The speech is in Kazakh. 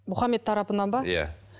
мұхаммед тарапынан ба иә